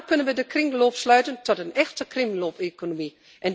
Samen kunnen we de kringloop sluiten tot een echte kringloopeconomie.